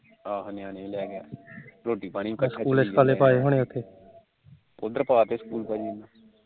ਉਧਰ ਪਾਤੇ school ਭਾਜੀ